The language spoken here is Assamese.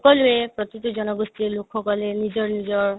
সকলোয়ে প্ৰতিতো জনগোষ্ঠিৰ লোকসকলে নিজৰ নিজৰ